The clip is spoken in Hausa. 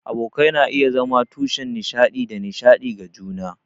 Abokai na iya zama tushen nishaɗi da nishaɗi ga juna.